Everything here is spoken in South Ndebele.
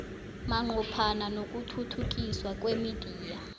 manqophana nokuthuthukiswa kwemidiya